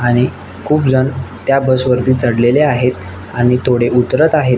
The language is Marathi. आणि खुप जण त्या बस वरती चढलेले आहेत आणि थोडे उतरत आहेत.